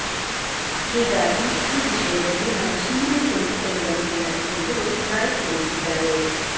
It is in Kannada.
ಹೀಗಾಗಿ ಈ ವಿಷಯದಲ್ಲಿ ನಾವು ಸುಮ್ಮನೆ ಕುಳಿತುಕೊಳ್ಳುವಂತಿಲ್ಲ ಎಂದು ರಾಯ್ ತಿಳಿಸಿದ್ದಾರೆ